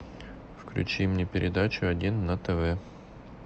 включи мне передачу один на тв